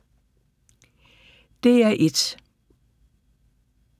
DR1